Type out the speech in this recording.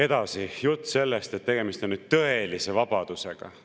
Edasi, jutt sellest, et tegemist on tõelise vabadusega.